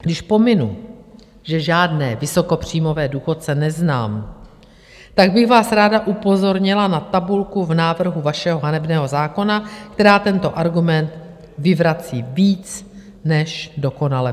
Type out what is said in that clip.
Když pominu, že žádné vysokopříjmové důchodce neznám, tak bych vás ráda upozornila na tabulku v návrhu vašeho hanebného zákona, která tento argument vyvrací víc než dokonale.